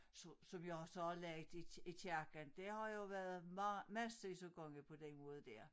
Så så har vi har også lagt i i kirken det har jo været meget massevis af gange på den måde dér